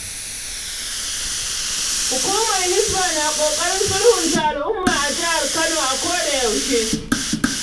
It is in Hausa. Hukumar Hisbah na ƙoƙarin sulhunta al'umma a jihar Kano a koda yaushe.